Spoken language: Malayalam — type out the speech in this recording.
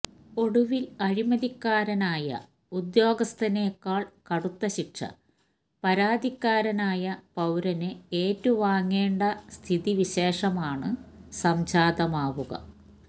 ഒടുവില് അഴിമതിക്കാരനായ ഉദ്യോഗസ്ഥനേക്കാള് കടുത്ത ശിക്ഷ പരാതിക്കാരനായ പൌരന് ഏറ്റുവാങ്ങേണ്ട സ്ഥിതിവിശേഷമാണ് സംജാതമാവുക